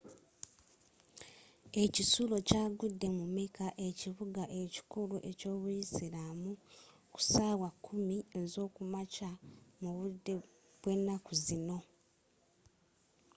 ekisulo kyagudde mu mecca ekibuga ekikulu eky'obuyisiraamu ku sawa 10 ezokumakya mu budde bwe naku zino